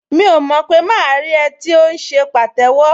Mi ò mọ̀ pé máa rí ẹ tí ò ń ṣe pàtẹ́wọ́